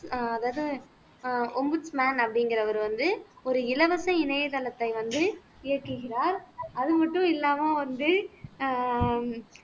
அதாவது ஆஹ் மேன் அப்படிங்கிறவர் வந்து ஒரு இலவச இணையதளத்தை வந்து இயக்குகிறார் அது மட்டும் இல்லாம வந்து அஹ்